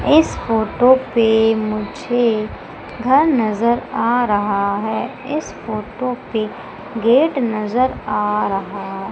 इस फोटो पे मुझे घर नजर आ रहा है इस फोटो पे गेट नजर आ रहा--